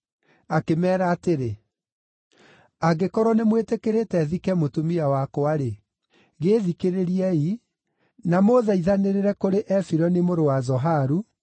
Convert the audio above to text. Akĩmeera atĩrĩ, “Angĩkorwo nĩmwĩtĩkĩrĩte thike mũtumia wakwa-rĩ, gĩĩthikĩrĩriei, na mũthaithanĩrĩre kũrĩ Efironi mũrũ wa Zoharu,